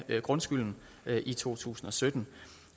grundskylden i to tusind og sytten